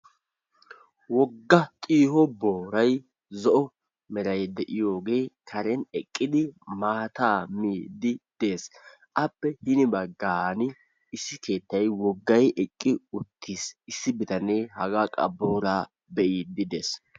Wogga xiiho booray zo'o meray de'iyoogee karen eqqidi maataa miidi deesi. Appe hini bagaani issi keettay woggay eqi ittis. Issi bittanee haga qa booraa be'iidi dees.